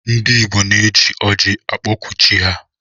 Ndi igbo na eji ọji akpọku chi ha.